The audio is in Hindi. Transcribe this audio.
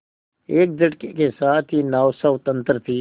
एक झटके के साथ ही नाव स्वतंत्र थी